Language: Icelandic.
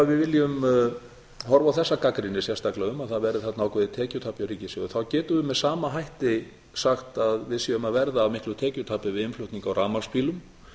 við viljum horfa á þessa gagnrýni sérstaklega um að það verði þarna ákveðið tekjutap hjá ríkissjóði þá getum við með sama hætti sagt að við séum að verða af miklu tekjutapi við innflutning á rafmagnsbílum